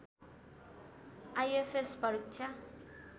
IFS परीक्षा